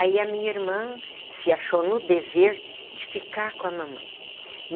Aí a minha irmã se achou no dever de ficar com a mamãe.